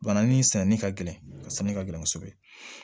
Bananin sɛnɛni ka gɛlɛn a sanni ka gɛlɛn kosɛbɛ